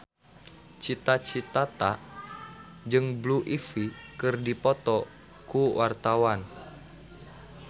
Cita Citata jeung Blue Ivy keur dipoto ku wartawan